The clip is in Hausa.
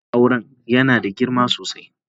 kak na auren yana da girma sosai.